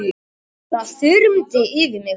Það þyrmdi yfir mig.